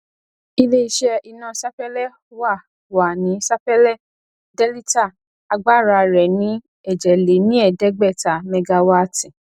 iléiṣẹ iná sapélé wà wà ní sapélé delita agbára rẹ ni ejelenieedegbeta megawaati